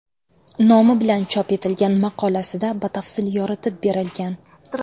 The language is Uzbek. nomi bilan chop etilgan maqolasida batafsil yoritib berilgan.